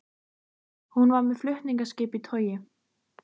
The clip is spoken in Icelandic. Hún var með flutningaskip í togi.